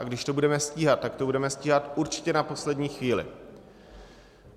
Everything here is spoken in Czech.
A když to budeme stíhat, tak to budeme stíhat určitě na poslední chvíli.